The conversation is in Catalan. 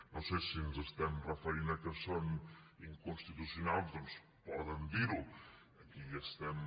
no sé si ens estem referint a que són inconstitucionals doncs poden dir ho aquí ja estem